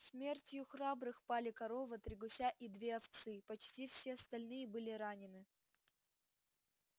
смертью храбрых пали корова три гуся и две овцы почти все остальные были ранены